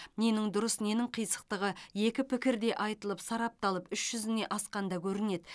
ненің дұрыс ненің қисықтығы екі пікір де айтылып сарапталып іш жүзіне асқанда көрінеді